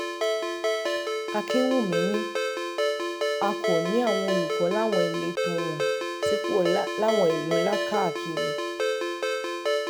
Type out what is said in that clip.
akínwùmí ni a kò ní àwọn olùkọ́ láwọn ìletò wọ́n sì pọ̀ láwọn ìlú ńlá káàkiri